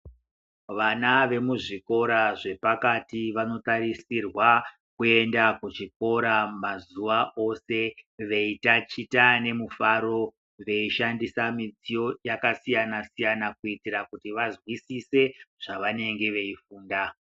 Vana vekuzvikora zvepakati vanokarisirwa kuenda kuchikora mazuva ose veitaticha nemufaro veishandisa midziyo yakasiyana-siyana kuitira kuti vanzwisise zvavanenge veifunda.